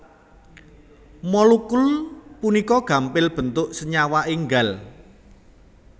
Molekul punika gampil bentuk senyawa enggal